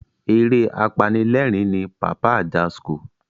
Eré apanilerin ni Pàpá Ajasco.